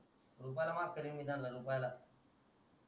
रुपयाला माफ कारेन मी त्यांना रुपयाला